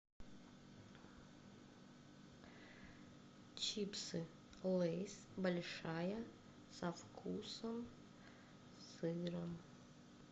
чипсы лейс большая со вкусом сыра